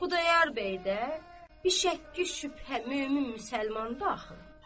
Xudayar bəy də bişəkki-şübhə mömin müsəlmandır axı.